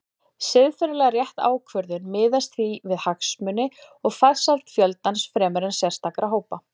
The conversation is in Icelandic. Siðferðilega rétt ákvörðun miðast því við hagsmuni og farsæld fjöldans fremur en sérstakra hópa.